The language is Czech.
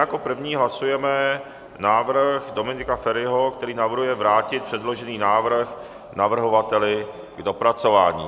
Jako první hlasujeme návrh Dominika Feriho, který navrhuje vrátit předložený návrh navrhovateli k dopracování.